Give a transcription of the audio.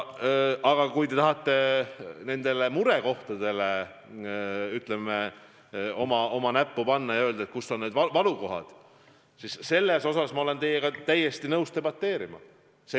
Aga kui te tahate nendele murekohtadele näpuga näidata ja öelda, kus on need valukohad, siis selle üle ma olen teiega täiesti nõus debateerima.